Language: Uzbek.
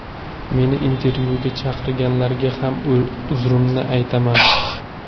Meni intervyuga chaqirganlarga ham uzrimni aytaman.